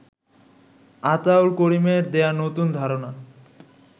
আতাউল করিমের দেয়া নতুন ধারণা